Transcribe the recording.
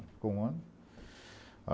Ficou um ano.